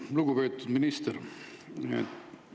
Lugupeetud minister!